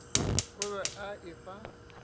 o be a e fa